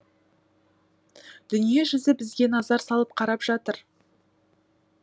дүние жүзі бізге назар салып қарап жатыр